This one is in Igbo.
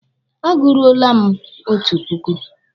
A guruole m otu puku.